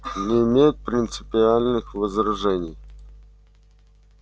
не имеет принципиальных возражений